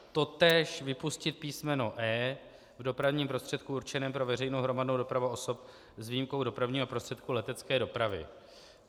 Totéž vypustit písmeno e) v dopravním prostředku určeném pro veřejnou hromadnou dopravu osob s výjimkou dopravního prostředku letecké dopravy.